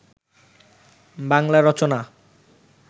Bangla Rachana